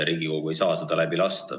Riigikogu ei saa seda läbi lasta.